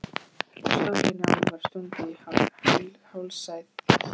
Stórri nál var stungið í hálsæð hestsins.